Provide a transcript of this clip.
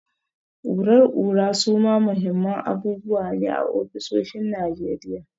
Kurar kura suma muhimman abubuwa ne a ofisoshin Najeriya.